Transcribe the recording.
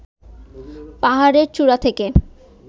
পাহাড়ের চূড়া থেকে